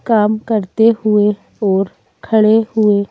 काम करते हुए और खड़े हुए--